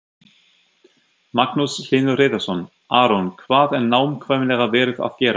Magnús Hlynur Hreiðarsson: Aron, hvað er nákvæmlega verið að gera?